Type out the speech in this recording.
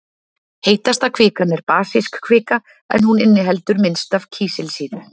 Heitasta kvikan er basísk kvika en hún inniheldur minnst af kísilsýru.